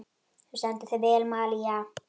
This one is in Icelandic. Þú stendur þig vel, Malía!